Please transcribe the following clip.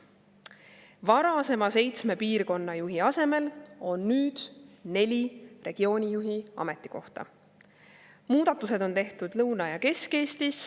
Varasema seitsme piirkonnajuhi asemel on nüüd neli regioonijuhi ametikohta.